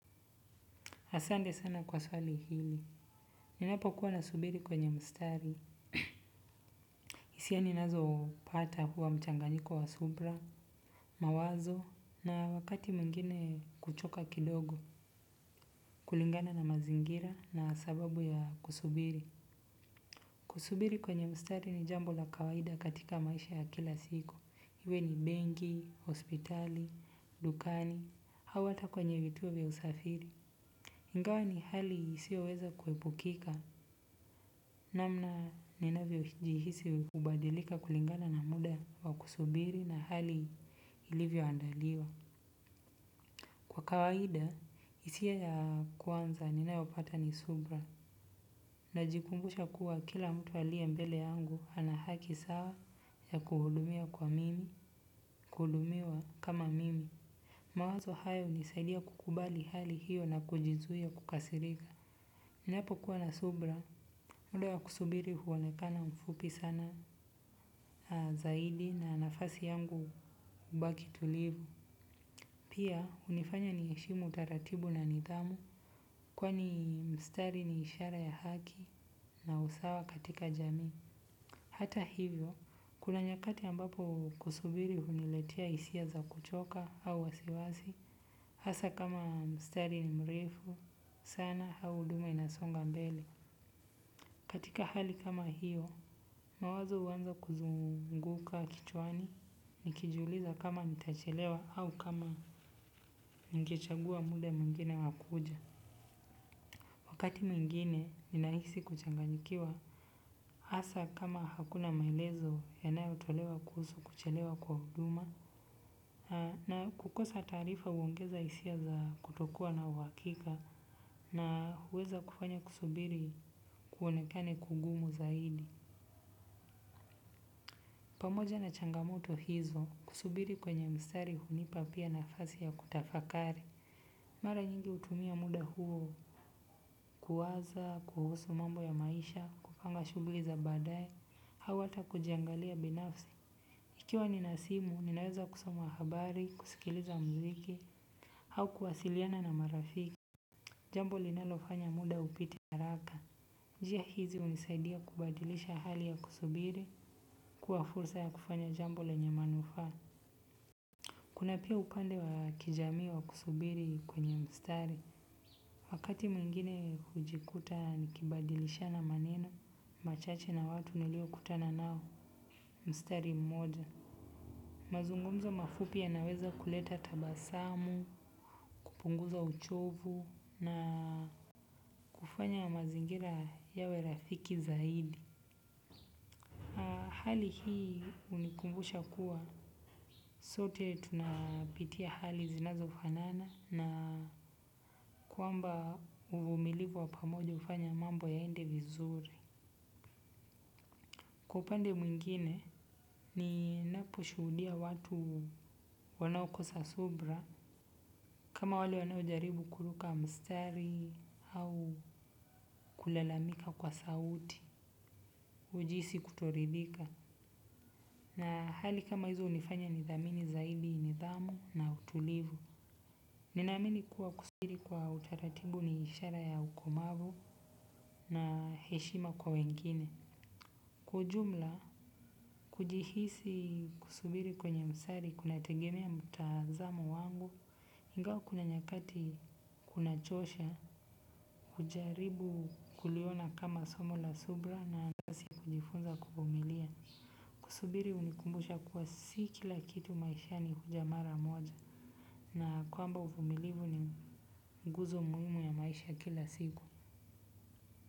Asante sana kwa swali hili. Ninapokuwa nasubiri kwenye mstari HIsiani ninazo pata huwa mchanganyiko wa subra, mawazo, na wakati mwingine kuchoka kidogo, kulingana na mazingira na sababu ya kusubiri. Kusubiri kwenye mstari ni jambo la kawaida katika maisha ya kila siku. Iwe ni benki, hospitali, dukani, hau hata kwenye vituo vya usafiri. Ingawa ni hali isiyoweza kuepukika, namna ninavyojihisi hubadilika kulingana na muda wa kusubiri na hali ilivyoandaliwa. Kwa kawaida, hisia ya kwanza ninayopata ni subra, najikumbusha kuwa kila mtu aliye mbele yangu ana haki sawa ya kuhudumiwa kama mimi. Mawazo hayo hunisaidia kukubali hali hiyo na kujizuia kukasirika. Ninapokuwa na subra, mda wa kusubiri huonekana mfupi sana zaidi na nafasi yangu hubaki tulivu. Pia, hunifanya niheshimu utaratibu na nidhamu, kwani mstari ni ishara ya haki na usawa katika jamii. Hata hivyo, kuna nyakati ambapo kusubiri huniletia hisia za kuchoka au wasiwasi, hasa kama mstari ni mrefu, sana au huduma inasonga mbele. Katika hali kama hiyo, mawazo uanza kuzunguka kichwani, nikijuliza kama nitachelewa au kama ningechagua muda mwingine wa kuja. Wakati mwingine ni nahisi kuchanganyikiwa, hasa kama hakuna maelezo yanayotolewa kuhusu kuchelewa kwa huduma. Na kukosa taarifa uongeza hisia za kutokuwa na uhakika, na huweza kufanya kusubiri kuonekane kugumu zaidi. Pamoja na changamoto hizo, kusubiri kwenye mstari hunipatia nafasi ya kutafakari. Mara nyingi hutumia muda huo kuwaza, kuhusu mambo ya maisha, kupanga shughli za baadaye, au hata kujiangalia binafsi. Ikiwa nina simu, ninaweza kusoma habari, kusikiliza mziki, au kuwasiliana na marafiki. Jambo linalofanya muda upite. Njia hizi hunisaidia kubadilisha hali ya kusubiri, kuwa fursa ya kufanya jambo lenye manufaa. Kuna pia upande wa kijamii wa kusubiri kwenye mstari, wakati mwingine hujikuta nikibadilishana maneno machache na watu niliokutana nao mstari mmoja. Mazungumzo mafupi yanaweza kuleta tabasamu, kupunguza uchovu na hufanya mazingira yawe rafiki zaidi. Hali hii hunikumbusha kuwa sote tunapitia hali zinazofanana na kwamba uvumilivu wa pamoja hufanya mambo yaende vizuri. Kwa upande mwingine, ninapo shuhudia watu wanaokosa subra, kama wale wanaojaribu kuruka mstari au kulalamika kwa sauti ujihisi kutoridhika. Na hali kama hizo hunifanya nidhamini zaidi nidhamu na utulivu. Ninaamini kuwa kusubiri kwa utaratibu ni ishara ya ukomavu na heshima kwa wengine. Kwa ujumla, kujihisi kusubiri kwenye mstari kunategemea mtazamo wangu. Ingawa kuna nyakati kunachosha, hujaribu kuliona kama somo la subra na kujifunza kuvumilia. Kusubiri hunikumbusha kuwa si kila kitu maisha ni huja mara moja na kwamba uvumilivu ni nguzo muhimu ya maisha kila siku.